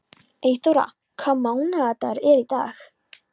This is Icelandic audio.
Eyþóra, hvaða mánaðardagur er í dag?